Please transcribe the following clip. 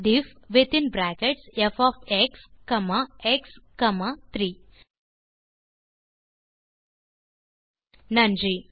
அதன் சின்டாக்ஸ் difffஎக்ஸ்3 இந்த டியூட்டோரியல் ஐ ரசித்து இருப்பீர்கள் மற்றும் பயனுள்ளதாக இருக்கும் என்று நம்புகிறேன்